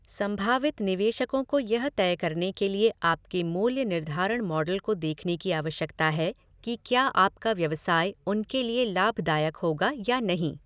संभावित निवेशकों को यह तय करने के लिए आपके मूल्य निर्धारण मॉडल को देखने की आवश्यकता है कि क्या आपका व्यवसाय उनके लिए लाभदायक होगा या नहीं।